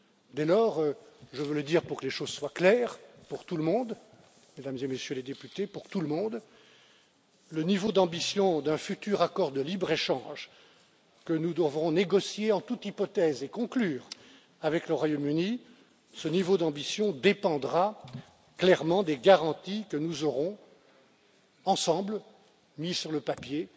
Dès lors, je veux le dire pour que les choses soient claires pour tout le monde, Mesdames et Messieurs les députés, pour tout le monde, le niveau d'ambition d'un futur accord de libre échange que nous devrons négocier en toute hypothèse et conclure avec le Royaume Uni, ce niveau d'ambition dépendra clairement des garanties que nous aurons ensemble mises sur le papier